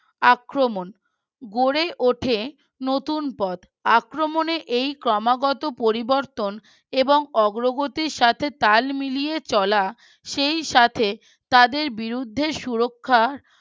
আক্রমণ গড়ে ওঠে নতুন পথ আক্রমনের এই ক্রমাগত পরিবর্তন এবং অগ্রগতির সাথে তাল মিলিয়ে চলা সেই সাথে তাদের বিরুদ্ধে সুরক্ষা